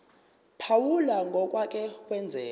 phawula ngokwake kwenzeka